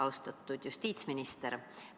Austatud justiitsminister!